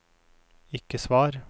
ikke svar